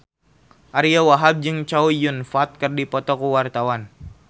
Ariyo Wahab jeung Chow Yun Fat keur dipoto ku wartawan